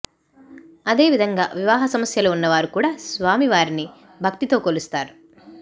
అదే విధంగా వివాహ సమస్యలు ఉన్నవారు కూడా స్వామివారిని భక్తితో కొలుస్తారు